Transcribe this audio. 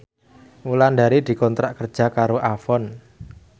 Wulandari dikontrak kerja karo Avon